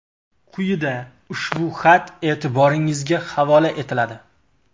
Quyida ushbu xat e’tiboringizga havola etiladi.